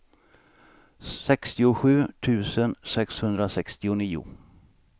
sextiosju tusen sexhundrasextionio